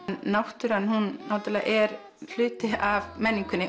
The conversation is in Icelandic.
náttúran hún náttúrulega er hluti af menningunni